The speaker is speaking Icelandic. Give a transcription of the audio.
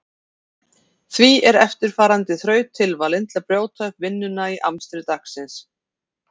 Því er eftirfarandi þraut tilvalin til að brjóta upp vinnuna í amstri dagsins.